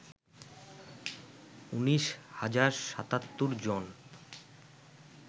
১৯ হাজার ৭৭ জন